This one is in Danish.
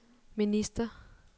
minister